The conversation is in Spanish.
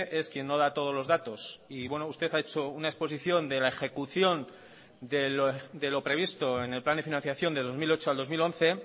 es quien no da todos los datos y bueno usted ha hecho una exposición de la ejecución de lo previsto en el plan de financiación de dos mil ocho al dos mil once